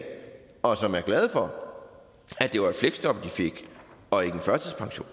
og som er glade for at det var et fleksjob de fik og ikke en førtidspension